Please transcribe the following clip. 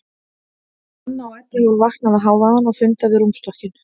Anna og Edda hafa vaknað við hávaðann og funda við rúmstokkinn.